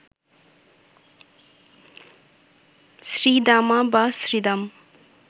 শ্রীদামা বা শ্রীদাম